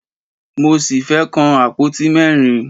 Mo ṣì fẹ́ kàn àpótí mẹ́rin.